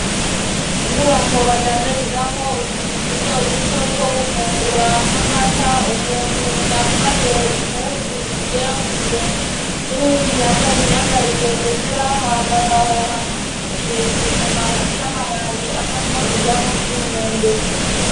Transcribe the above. Inyubako badandarizamwo utuntu duto duto two gufungura nkamata umuntu yambaye impuzu zigera ku birenga n'uyundi yambaye imyambarire yera hambavaho hari igiti kirekire c'amababi avamo ivyamwa z'imyembe.